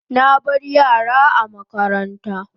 Na bar yara a makaranta